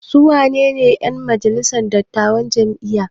Su wanene 'yan majalisar dattawan jami'a?